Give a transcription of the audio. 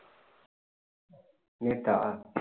நேத்தா